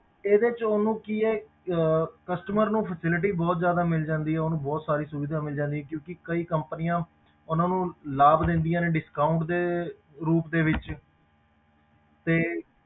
ਇਹਦੇ ਵਿੱਚ ਉਹਨੂੰ ਕੀ ਹੈ ਅਹ customer ਨੂੰ facility ਬਹੁਤ ਜ਼ਿਆਦਾ ਮਿਲਦੀ ਹੈ ਉਹਨੂੰ ਬਹੁਤ ਸਾਰੀ ਸੁਵਿਧਾ ਮਿਲ ਜਾਂਦੀ ਹੈ ਕਿਉਂਕਿ ਕਈ companies ਉਹਨੂੰ ਲਾਭ ਲੈਂਦੀਆਂ ਨੇ discount ਦੇ ਰੂਪ ਦੇ ਵਿੱਚ ਤੇ